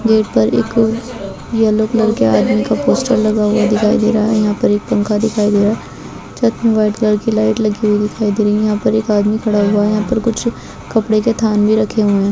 Gate पर एक yellow colour के आदमी का पोस्टर लगा हुआ दिखाई दे रहा है यहां पर एक पंखा दिखाई दे रहा है छत मे व्हाइट कलर की लाइट लगी हुई दिखाई दे रही है यहां पर एक आदमी खड़ा हुआ है यहां पर कुछ कपड़े के थान भी रखे हुए है।